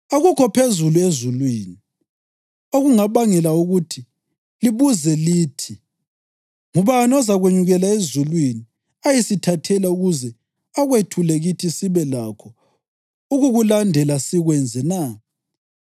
Akukho phezulu ezulwini, okungabangela ukuthi libuze lithi: ‘Ngubani ozakwenyukela ezulwini ayesithathela ukuze akwethule kithi sibe lakho ukukulandela sikwenze na?’